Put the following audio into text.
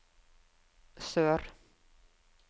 sør